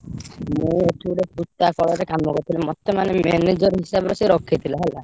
ମୁଁ ଏଠି ଗୋଟେ ସୂତା କଳରେ କାମ କରୁଥିଲି। ମତେ ମନେ manager ହିସାବରେ ସେ ରଖିଥିଲା ହେଲା।